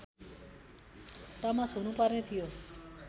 टमस हुनुपर्ने थियो